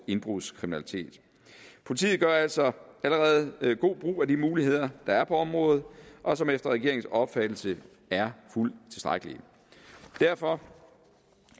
indbrudskriminalitet politiet gør altså allerede god brug af de muligheder der er på området og som efter regeringens opfattelse er fuldt tilstrækkelige derfor